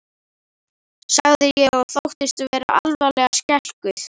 sagði ég og þóttist vera alvarlega skelkuð.